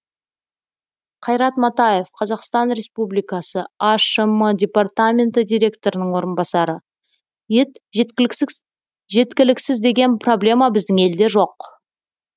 қайрат матаев қазақстан ресрубликасы ашм департаменті директорының орынбасары ет жеткіліксіз деген проблема біздің елде жоқ